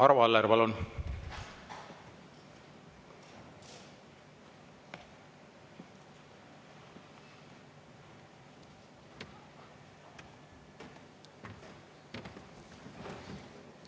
Arvo Aller, palun!